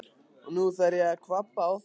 Og nú þarf ég að kvabba á þér!